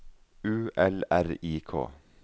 U L R I K